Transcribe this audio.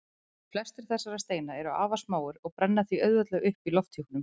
Flestir þessara steina eru afar smáir og brenna því auðveldlega upp í lofthjúpnum.